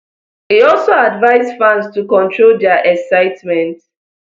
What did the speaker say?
e also advise fans to control dia excitement